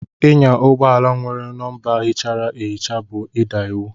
Ịnya ụgbọ ala nwere nọmba híchárá ehicha bú ida iwu.